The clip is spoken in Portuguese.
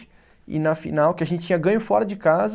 E na final, que a gente tinha ganho fora de casa.